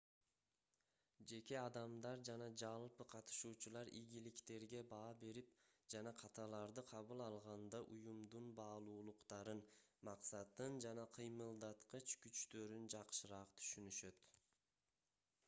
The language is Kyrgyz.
жеке адамдар жана жалпы катышуучулар ийгиликтерге баа берип жана каталарды кабыл алганда уюмдун баалуулуктарын максатын жана кыймылдаткыч күчтөрүн жакшыраак түшүнүшөт